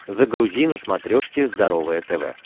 загрузи на смотрешке здоровое тв